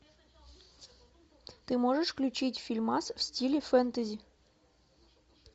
ты можешь включить фильмас в стиле фэнтези